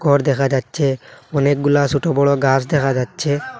ঘর দেখা যাচ্ছে অনেকগুলা সোটো বড় গাস দেখা যাচ্ছে।